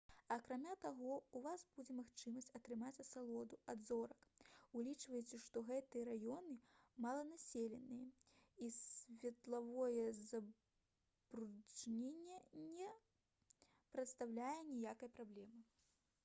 акрамя таго ў вас будзе магчымасць атрымаць асалоду ад зорак улічваючы што гэтыя раёны маланаселеныя і светлавое забруджанне не прадстаўляе ніякай праблемы